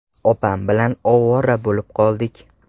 Opam bilan ovora bo‘lib qoldik.